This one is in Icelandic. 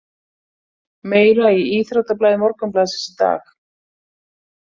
Meira í íþróttablaði Morgunblaðsins í dag